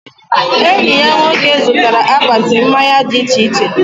Enyi ya nwoke zụtara akpati mmanya dị iche iche